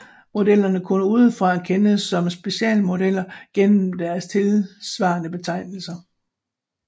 Modellerne kunne udefra kendes som specialmodeller gennem deres tilsvarende betegnelser